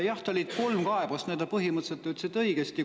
Jah, oli kolm kaebust, põhimõtteliselt te ütlesite õigesti.